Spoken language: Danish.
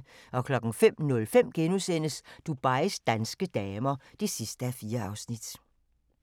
05:05: Dubais danske damer (4:4)*